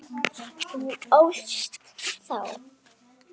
Þú ólst þá.